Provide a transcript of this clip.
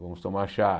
Vamos tomar chá.